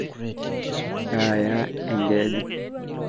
kayaa enkeju